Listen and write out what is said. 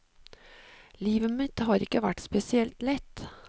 Livet mitt har ikke vært spesielt lett.